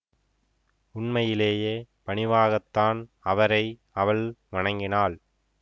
உண்மையிலேயே பணிவாகத்தான் அவரை அவள் வணங்கினாள்